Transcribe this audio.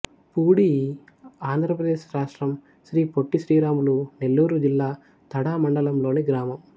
పూడి ఆంధ్ర ప్రదేశ్ రాష్ట్రం శ్రీ పొట్టి శ్రీరాములు నెల్లూరు జిల్లా తడ మండలం లోని గ్రామం